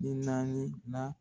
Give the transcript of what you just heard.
den naani na.